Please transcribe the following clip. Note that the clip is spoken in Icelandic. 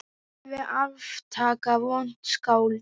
Alveg aftaka vont skáld.